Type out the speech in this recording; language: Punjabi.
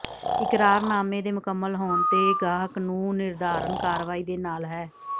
ਇਕਰਾਰਨਾਮੇ ਦੇ ਮੁਕੰਮਲ ਹੋਣ ਤੇ ਗਾਹਕ ਨੂੰ ਿਨਰਧਾਰਨ ਕਾਰਵਾਈ ਦੇ ਨਾਲ ਹੈ